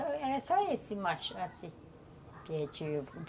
Não, era só esse, assim.